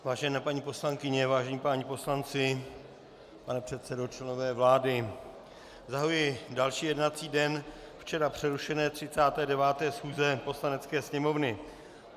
Vážené paní poslankyně, vážení páni poslanci, pane předsedo, členové vlády, zahajuji další jednací den včera přerušené 39. schůze Poslanecké sněmovny.